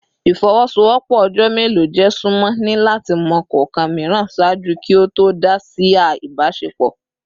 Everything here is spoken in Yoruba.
Ifowosowopo ojo melo je sunmọ ni lati mọ kọọkan miiran ṣaaju ki o to dá si a ibasepo